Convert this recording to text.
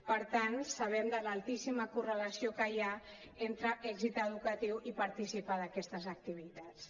per tant sabem de l’altíssima correlació que hi ha entre èxit educatiu i participar d’aquestes activitats